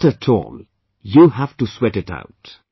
Not at allyou've to sweat it out